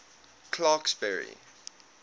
clarksburry